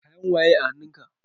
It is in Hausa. Kayan waye a hanun ka?